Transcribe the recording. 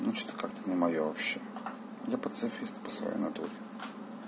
ну что-то как-то не моё вообще я пацифист по свой натуре